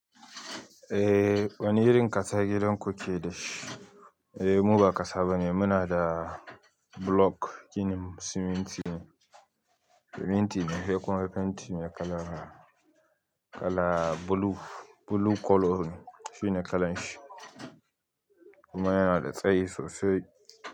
Ehh wani irin ƙasa gidan ku keɗa shi? Eh mu ba kasa ba ne muna da block shine siminti ne, siminti ne he ku ma fenti mai kala kala blue, blue colour shine kalan shi kuma yana da tsayi sosai.